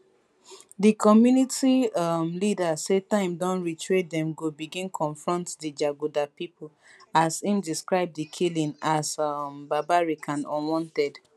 di community um leader say time don reach wey dem go begin confront di jaguda pipo as im describe di killing as um barbaric and unwarranted